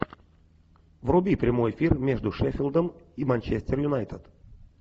вруби прямой эфир между шеффилдом и манчестер юнайтед